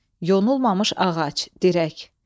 Yonulmamış ağac, dirək.